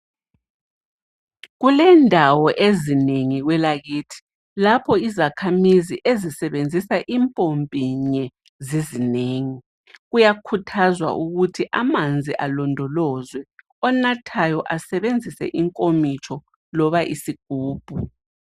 Kulendawo ezinengi kwelakithi lapho izakhamizi ezisebenzisa impompi inye zizinengi. Kuyakhuthazwa ukuthi amanzi alondolozwe onathayo asebenzise inkomitsho loba isigubhu.